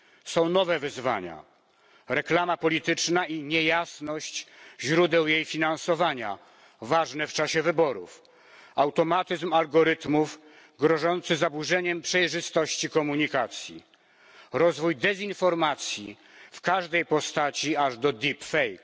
Są nowe wyzwania reklama polityczna i niejasność źródeł jej finansowania ważne w czasie wyborów, automatyzm algorytmów grożący zaburzeniem przejrzystości komunikacji, rozwój dezinformacji w każdej postaci, aż do deepfake